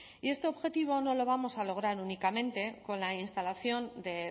y este objetivo no lo vamos a lograr únicamente con la instalación de